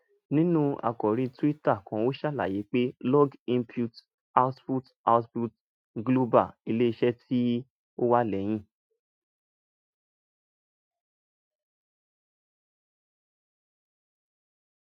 ninu akori twitter kan o ṣalaye pe iog input output output global ileiṣẹ ti o wa lẹhin